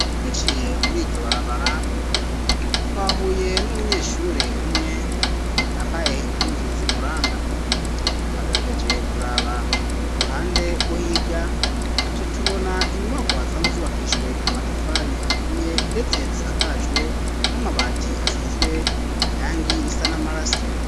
Duciye muri iryo barabara twahuye n'umunyeshure umwe yambaye impunzu zi muranga twagerageje kuraba ku ruhande rwo hirya duca tubona inyumakwa zisanzwe zubakishijwe amatafari aturiye ndetse zisakajwe n'amabati asizwe irangi risa n'amaraso.